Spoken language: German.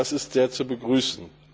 Das ist sehr zu begrüßen.